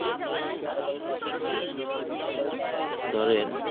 ধরেন